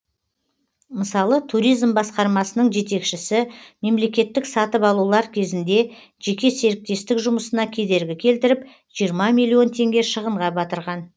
мысалы туризм басқармасының жетекшісі мемлекеттік сатып алулар кезінде жеке серіктестік жұмысына кедергі келтіріп жиырма миллион теңге шығынға батырған